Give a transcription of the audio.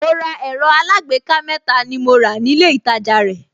Mo ra ẹ̀rọ alágbèéká mẹ́ta ni mo rà nílé ìtajà rẹ̀